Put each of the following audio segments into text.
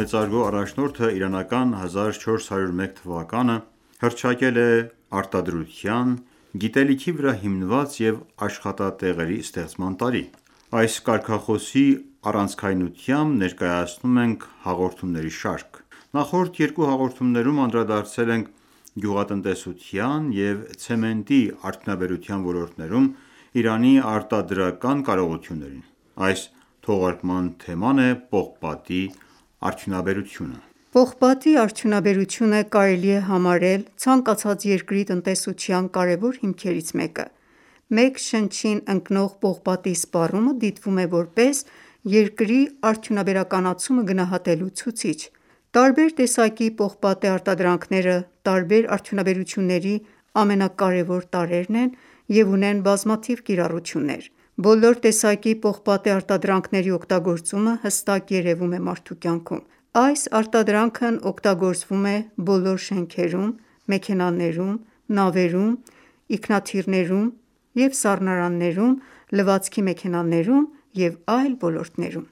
մեծարգո առաջնորդը իրանական 1401 թվականը հռչակել է «Արտադրության, գիտելիքի վրա հիմնված և աշխատատեղերի ստեղծման տարի»։ Այս կարգախոսի առանցքայնությամբ ներկայացնում ենք հաղորդումների շարք։ Նախորդ երկու հաղորդումներում անդրադարձել ենք գյուղատնտեսության և ցեմենտի արդյունաբերության ոլորտներում Իրանի արտադրական կարողություններին։ Այս թողարկման թեման է պողպատի արդյունաբերությունը։ Պողպատի արդյունաբերությունը կարելի է համարել ցանկացած երկրի տնտեսության կարևոր հիմքերից մեկը: Մեկ շնչին ընկնող պողպատի սպառումը դիտվում է որպես երկրի արդյունաբերականացումը գնահատելու ցուցիչ։ Տարբեր տեսակի պողպատե արտադրանքները տարբեր արյդունաբերությունների ամենակարևոր տարրերն են և ունեն բազմաթիվ կիրառություններ: Բոլոր տեսակի պողպատե արտադրանքների օգտագործումը հստակ երևում է մարդու կյանքում։ Այս արտադրանքն օգտագործվում է բոլոր շենքերում, մեքենաներում, նավերում և ինքնաթիռներում և սառնարաններում, լվացքի մեքենաներում և այլ ոլորտներում։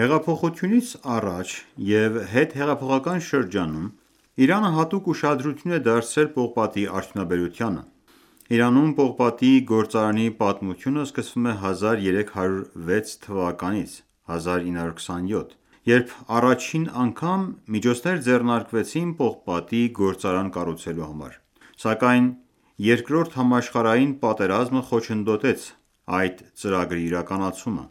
Հեղափոխությունից առաջ և հետհեղափոխական շրջանում, Իրանը հատուկ ուշադրություն է դարձրել պողպատի արդյունաբերությանը։ Իրանում պողպատի գործարանի պատմությունը սկսվում է 1306 թվականից (1927թ.), երբ առաջին անգամ միջոցներ ձեռնարկվեցին պողպատի գործարան կառուցելու համար, սակայն Երկրորդ համաշխարհային պատերազմը խոչընդոտեց այդ ծրագրի իրականացման։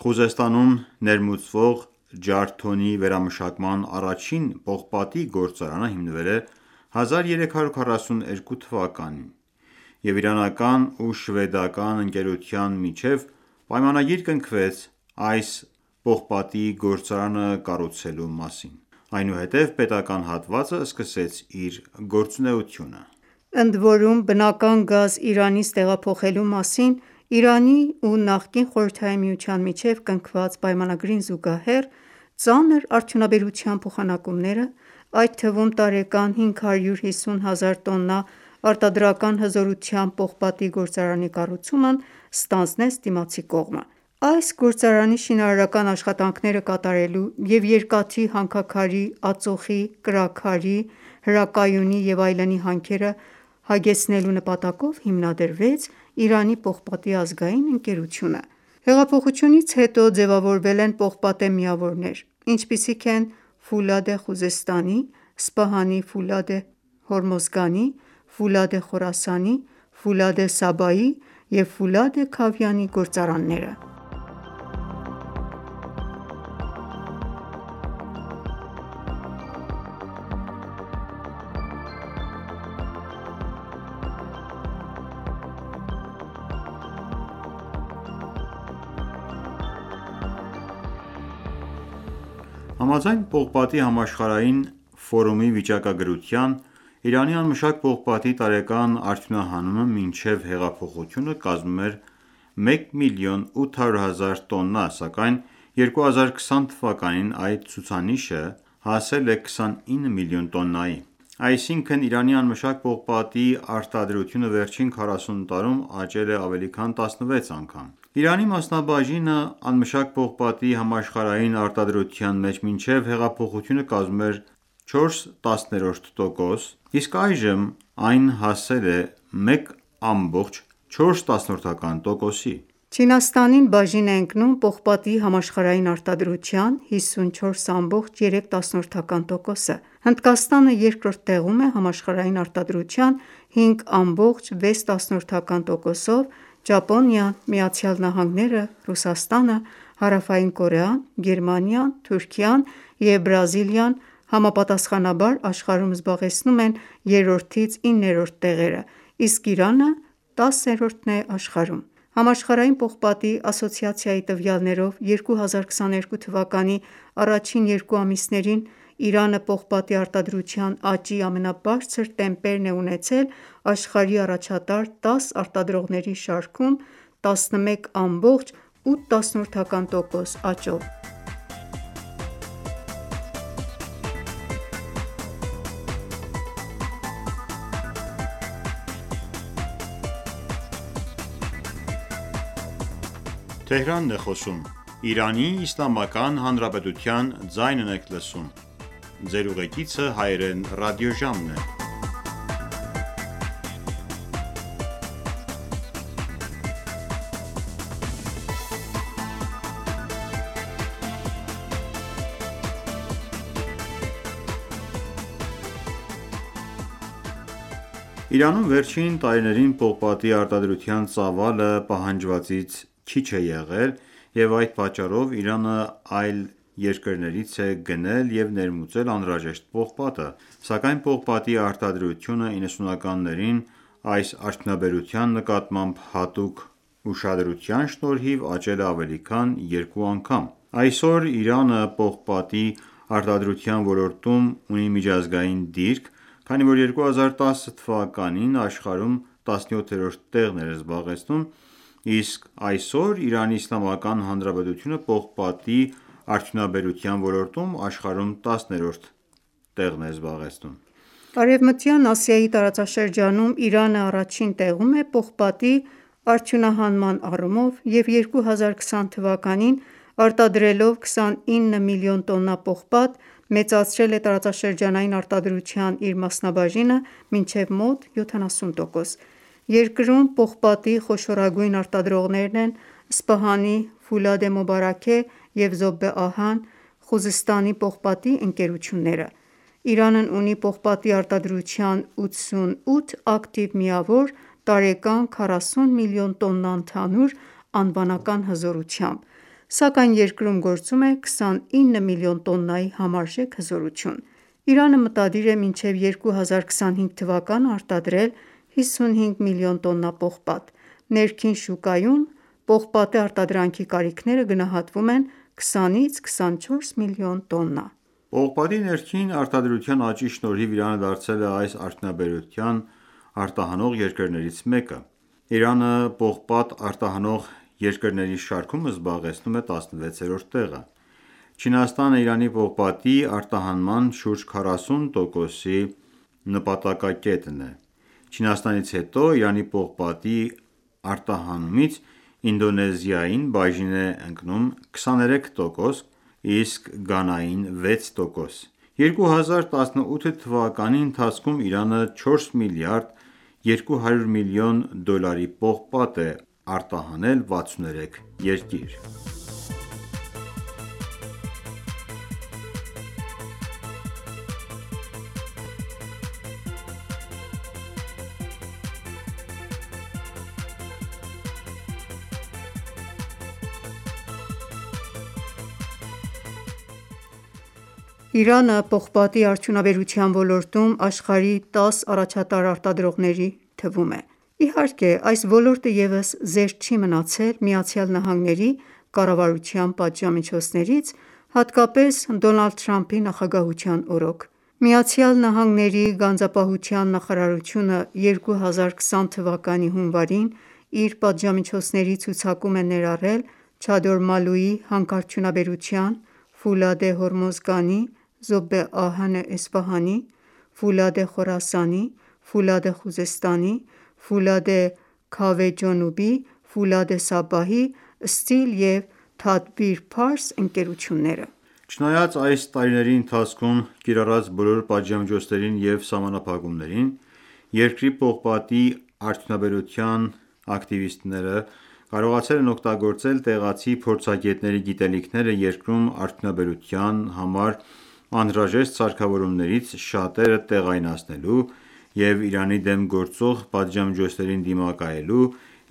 Խուզեստանում ներմուծվող ջարդոնի վերամշակման առաջին պողպատի գործարանը հիմնվել է 1342 (1963) թվականին, և իրանական ու շվեդական ընկերության միջև պայմանագիր կնքվեց այս պողպատի գործարանը կառուցելու մասին։ Այնուհետև պետական հատվածը սկսեց իր գործությունեությունը: Ընդ որում, բնական գազ Իրանից տեղափոխելու մասին Իրանի ու նախկին Խորհրդային միջության միջև կնքված պայմանագրին զուգահեռ, ծանր արդյունաբերության փոխանակումները, այդ թվում՝ տարեկան 550 հազար տոննա արտադրական հզորությամբ պողպատի գործարանի կառուցումն ստանձնեց դիմացի կողմը: Այս գործարանի շինարարական աշխատանքները կատարելու և երկաթի հանքաքարի, ածուխի, կրաքարի, հրակայունի և այլնի հանքերը հագեցնելու նպատակով հիմնադրվեց Իրանի պողպատի ազգային ընկերությունը: Հեղափոխությունից հետո ձևավորվել են պողպատե միավորներ, ինչպիսիք են Ֆուլադե Խուզեստանի, Սպահանի Ֆուլադե Հորմոզգանի, Ֆուլադե Խորասանի, Ֆուլադե Սաբայի, և Ֆուլադե Քավիանի գործարանները: Համաձայն Պողպատի համաշխարհային ֆորումի վիճակագրության՝ Իրանի անմշակ պողպատի տարեկան արդյունահանումը մինչև հեղափոխությունը կազմում էր 1 միլիոն 800 հազար տոննա, սակայն 2020 թվականին այդ ցուցանիշը հասել է 29 միլիոն տոննայի: Այսինքն՝ Իրանի անմշակ պողպատի արտադրությունը վերջին 40 տարում աճել է ավելի քան 16 անգամ։ Իրանի մասնաբաժինը անմշակ պողպատի համաշխարհային արտադրության մեջ մինչև հեղափոխությունը կազմում էր 4 տասներորդ տոկոս, իսկ այժմ այն ​​հասել է 1,4 տոկոսի։ Չինաստանին բաժին է ընկնում պողպատի համաշխարհային արտադրության 54,3 տոկոսը, Հնդկաստանը երկրորդ տեղում է համաշխարհային արտադրության 5,6 տոկոսով, Ճապոնիան, ԱՄՆ-ը, Ռուսաստանը, Հարավային Կորեան, Գերմանիան, Թուրքիան և Բրազիլիան համապատասխանաբար աշխարհում զբաղեցնում են երրորդից իններորդ տեղերը, իսկ Իրանը 10-րդն է աշխարհում: Համաշխարհային պողպատի ասոցիացիայի տվյալներով՝ 2022 թվականի առաջին երկու ամիսներին Իրանը պողպատի արտադրության աճի ամենաբարձր տեմպերն է ունեցել աշխարհի առաջատար 10 արտադրողների շարքում՝ 11,8 տոկոս աճով։ Իրանում վերջին տարիներին պողպատի արտադրության ծավալը պահանջվածից քիչ է եղել, և այդ պատճառով Իրանը այլ երկրներից է գնել և ներմուծել անհրաժեշտ պողպատը, սակայն պողպատի արտադրությունը 90-ականներին այս արդյունաբերության նկատմամբ հատուկ ուշադրության շնորհիվ աճել է ավելի քան երկու անգամ։ Այսօր Իրանը պողպատի արտադրության ոլորտում ունի միջազգային դիրք, քանի որ 2010 թվականին աշխարհում 17-րդ տեղն էր զբաղեցնում, իսկ այսօր Իրանի Իսլամական Հանրապետությունը պողպատի արդյունաբերության ոլորտում աշխարհում 10-րդն է: Արևմտյան Ասիայի տարածաշրջանում Իրանը առաջին տեղում է պողպատի արդյունահանման առումով և 2020 թվականին արտադրելով 29 միլիոն տոննա պողպատ, մեծացրել է տարածաշրջանային արտադրության իր մասնաբաժինը մինչև մոտ 70 տոկոս: Երկրում պողպատի խոշորագույն արտադրողներն են Սպահանի Ֆուլադե Մոբարաքե և Զոբե Ահան, և Խուզեստանի պողպատի ընկերությունները: Իրանն ունի պողպատի արտադրության 88 ակտիվ միավոր՝ տարեկան 40 մլն տոննա ընդհանուր անվանական հզորությամբ, սակայն երկրում գործում է 29 մլն տոննայի համարժեք հզորություն։ Իրանը մտադիր է մինչև 1404 (2025) թվականը արտադրել 55 միլիոն տոննա պողպատ։ Ներքին շուկայում պողպատե արտադրանքի կարիքները գնահատվում են 20-ից 24 մլն տոննա: Պողպատի ներքին արտադրության աճի շնորհիվ Իրանը դարձել է այս արդյունաբերության արտահանող երկրներից մեկը։ Իրանը պողպատ արտահանող երկրների շարքում զբաղեցնում է 16-րդ տեղը։ Չինաստանը Իրանի պողպատի արտահանման շուրջ 40 տոկոսի նպատակակետն է։ Չինաստանից հետո Իրանի պողպատի արտահանմումից Ինդոնեզիային բաժին է ընկնում 23 տոկոս, իսկ Գանային՝ 6 տոկոս: 1397 (2018) թվականի ընթացքում Իրանը 4 միլիարդ 200 միլիոն դոլարի պողպատ է արտահանել 63 երկիր։ Իրանը պողպատի արդյունաբերության ոլորտում աշխարհի 10 առաջատար արտադրողների թվում է։ Իհարկե այս ոլորտը ևս զերծ չի մնացել ԱՄՆ կառավարության պատժամիջոցներից հատկապես Դոնալդ Թրամփի նախագահության օրոք։ ԱՄՆ գանձապահության նախարարությունը 2020 թվականի հունվարին իր պատժամիջոցների ցուցակում է ներառել Չադորմալուի հանքարդյունաբերության, Ֆուլադե Հորմոզգանի, Զոբե Ահանե Էսֆահանի, Ֆուլադե Խորասանի, Ֆուլադե Խուզեստանի, Ֆուլադե Քավե Ջոնուբի, Ֆուլադե Սաբահի, Սթիլ և Թադբիր Փարս ընկերությունները։ Չնայած այս տարիների ընթացքում կիրառված բոլոր պատժամիջոցներին և սահմանափակումներին, երկրի պողպատի արդյունաբերության ակտիվիստները կարողացել են օգտագործել տեղացի փորձագետների գիտելիքները երկրում արդյունաբերության համար անհրաժեշտ սարքավորումներից շատերը տեղայնացնելու և Իրանի դեմ գործող պատժամիջոցներին դիմակայելու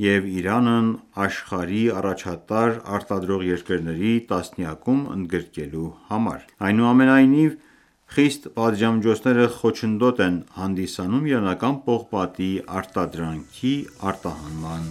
և Իրանն աշխարհի առաջատար արտադրող երկրների տասնյակում ընդգրկվելու համար։ Այնուամենայնիվ, խիստ պատժամիջոցները խոչընդոտ են հանդիսանում իրանական պողպատի արտադրանքի արտահանման